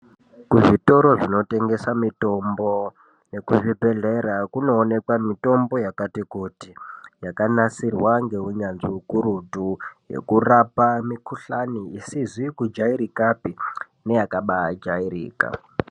Ku zvitoro zvino tengesa mitombo neku zvibhedhlera kuno onekwa mitombo yakati kuti yaka nasirwa nge unyanzvi ukurutu yeku rapa mikuhlani isizi ku jairikapi neya kabai jairika.